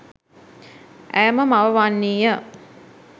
ඇය ම මව වන්නී ය.